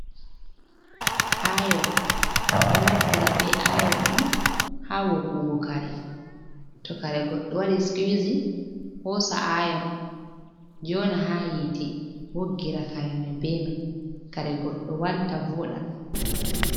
Ayon ɓeɗo naftira be ayon on ha woggugo kare, to kare goɗɗo waɗi scusiin hosa ayon jona ha hiite woggira kare mai be mai, kare goɗɗo walta voɗa,